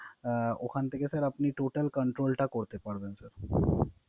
অ ওখান থেকে স্যার আপনি Total Control টা করতে পারবেন স্যার